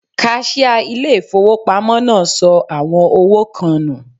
Kaṣíá ilé ìfowópamọ́ náà sọ àwọn owó kan nù.